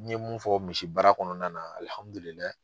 N ye mun fɔ misi baara kɔnɔna na alihamudulilahi